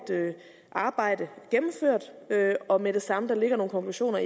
arbejde gennemført og med det samme når der ligger nogle konklusioner